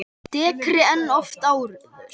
Dekkri en oft áður.